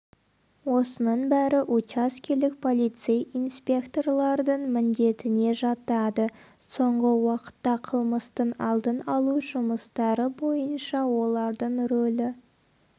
осының бәрі учаскелік полицей инспекторлардың міндетіне жатады соңғы уақытта қылмыстың алдын алу жұмыстары бойынша олардың рөлі